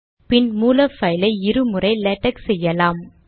பின் மூல பைலை இரு முறை லேடக் செய்யலாம்